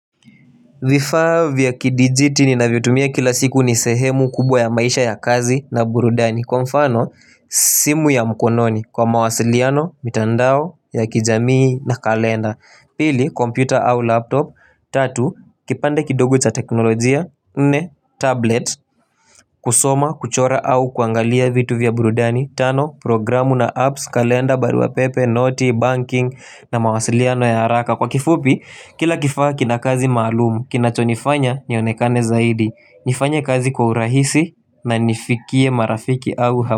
Vifaa vya kidijitini nina vyo tumia kila siku ni sehemu kubwa ya maisha ya kazi na burudani. Kwa mfano, simu ya mkononi kwa mawasiliano, mitandao, ya kijamii na kalenda. Pili, kompyuta au laptop. Tatu, kipande kidogo cha teknolojia. Nne, tablet. Kusoma, kuchora au kuangalia vitu vya burudani. Tano, programu na apps, kalenda, baruapepe, noti, banking na mawasiliano ya haraka. Kwa kifupi, kila kifaa kinakazi malumu, kinacho nifanya, nionekane zaidi nifanya kazi kwa urahisi na nifikie marafiki au hama.